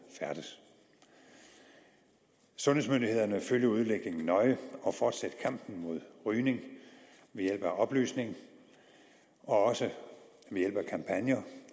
færdes sundhedsmyndighederne følger udviklingen nøje og fortsætter kampen mod rygning ved hjælp af oplysning og også ved hjælp af kampagner